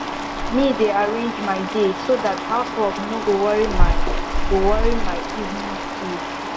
me dey arrange my day so dat house work no go worry my go worry my evening chill